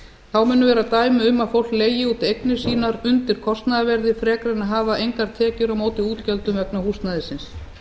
þá munu vera dæmi um að fólk leigi út eignir sínar undir kostnaðarverði frekar en að hafa engar tekjur á móti útgjöldum vegna húsnæðisins